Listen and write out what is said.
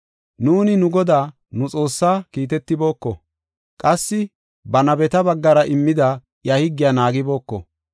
Nuuni nu Godaa, nu Xoossaa, kiitetibooko; qassi ba nabeta baggara immida iya higgiya naagibooko.